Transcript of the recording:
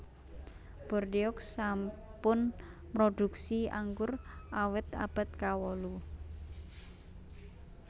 Bordeaux sampun mrodhuksi anggur awit abad kawolu